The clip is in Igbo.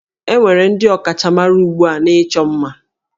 E nwere ndị ọkachamara ugbu a n'ịchọ ima